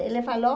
Ele falou